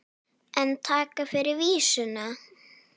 En takk fyrir vísuna!